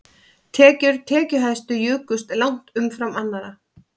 Tekjur tekjuhæstu jukust langt umfram annarra